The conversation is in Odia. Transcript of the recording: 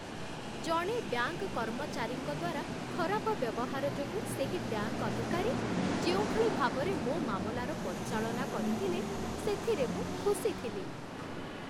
ଜଣେ ବ୍ୟାଙ୍କ କର୍ମଚାରୀଙ୍କ ଦ୍ୱାରା ଖରାପ ବ୍ୟବହାର ଯୋଗୁଁ ସେହି ବ୍ୟାଙ୍କ ଅଧିକାରୀ ଯେଉଁଭଳି ଭାବରେ ମୋ ମାମଲାର ପରିଚାଳନା କରିଥିଲେ, ସେଥିରେ ମୁଁ ଖୁସି ଥିଲି।